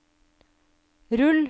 rull